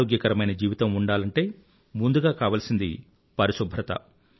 ఆరోగ్యకరమైన జీవితం ఉండాలంటే ముందుగా కావాల్సినది పరిశుభ్రత